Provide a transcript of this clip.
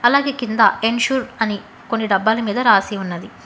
అలాగే కింద ఎన్సూర్ అని కొన్ని డబ్బాల మీద రాసి ఉన్నది.